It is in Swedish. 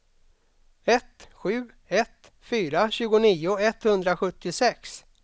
ett sju ett fyra tjugonio etthundrasjuttiosex